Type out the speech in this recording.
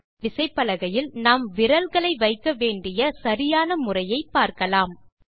இப்போது விசைப்பலகையில் நாம் விரல்களை வைக்க வேண்டிய சரியான முறையை பார்க்கலாம்